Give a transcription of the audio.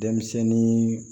Denmisɛnnin